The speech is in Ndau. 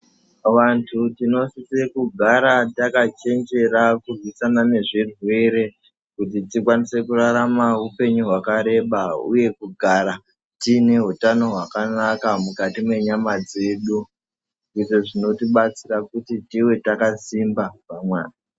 Vantu tino sise kugara taka chenjera kurwisana nezvirwere kuti tikwanise kurarama upenyu hwaka reba uye kugara tiine utano hwakanaka mukati mwenyama dzedu, izvo zvino tibatsira kuti tive taka simba